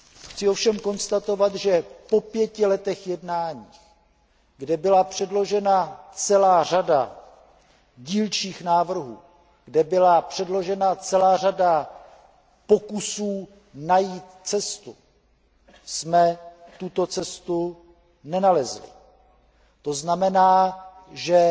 Chci ovšem konstatovat, že po pěti letech jednání, kde byla předložena celá řada dílčích návrhů, kde byla předložena celá řada pokusů najít cestu, jsme tuto cestu nenalezli. To znamená, že